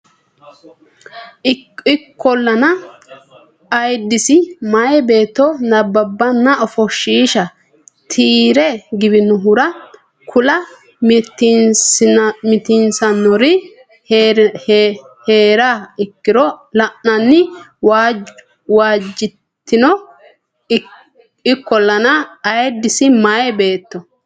Ikkollana ayiddise meyaa beetto nabbabbanna ofoshshiisha tiyyi re giwannohura kula mitiinsannonsari hee riha ikkiro la anni waajjitino Ikkollana ayiddise meyaa beetto.